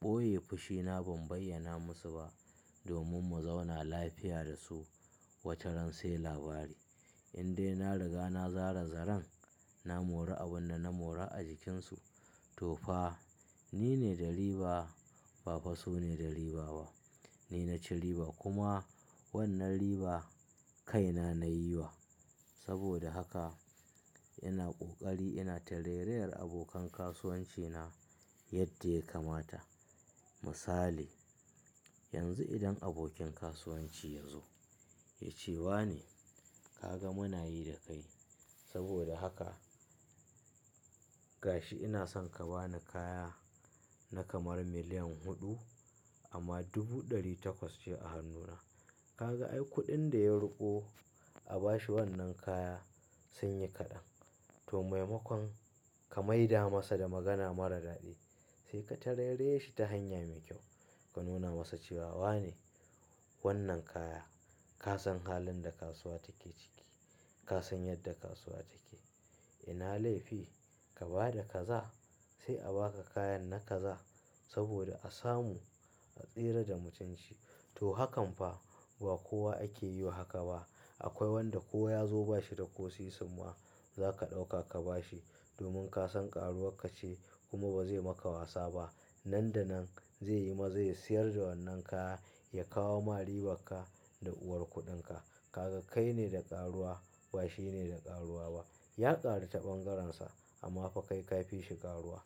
ɓoye fushi na ban bayyana musu ba domin mu zauna lafiya da su wataran sai labari. In dai na riga na zara zaren na mora abin da na mora a jikinsu to fa ni ne da riba ba fa su ne da riba ba. Ni na ci riba kuma wannan riba kaina na yi wa. Saboda haka ina ƙoƙari ina tarayyar abokan kasuwanci na yadda ya kamata. Misali, yanzu idan abokin kasuwanci ya zo ya ce wa ni kaga muna yi da kai saboda haka gashi ina son ka bani kaya na kamar miliyan huɗu amma dubu ɗari takwas ce a hannuna. Kaga ai kuɗin da ya ruƙo a bashi wannan kaya sun yi kaɗan. To maimakon ka maida masa da magana mara daɗi sai ka tarairaye shi ta hanya mai kyau. Ka nuna masa cewa wa ne wannan kaya. Ka san halin da kasuwa take ciki. Ka san yadda kasuwa take. Ina laifi ka ba da kaza sai a baka kayan na kaza saboda a samu a tsira da mutunci. To hakan fa ba kowa ake yi wa haka ba. Akwai wanda kowa ya zo bashi da ko sisimma za ka ɗauka ka bashi domin ka san ƙaruwar ka ce kuma ba zai maka wasa ba. Nan da nan zai yi maza ya siyar da wannan kaya ya kawo ma ribar ka da uwar kuɗin ka. Kaga kai ne da ƙaruwa ba shi ne da ƙaruwa ba. Ya ƙaru ta ɓangarensa amma fa kai ka fi shi ƙaruwa.